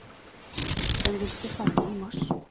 Den vil stå ferdig i mars.